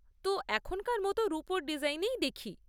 তো, এখনকার মতো রুপোর ডিজাইনেই দেখি।